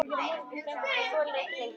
Hún þoldi ekki lengur við.